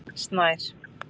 Snær